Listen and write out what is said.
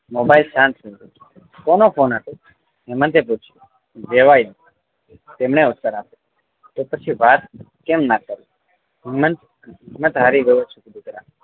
Mobile શાંત થાય ગયો કોનો ફોન હતો હેમંતે પૂછ્યું વેવાઈ તેમણે ઉત્તર આપ્યો તો પછી વાત કેમ ના કરી હેમંત હિમ્મત હારી ગયો છું દીકરા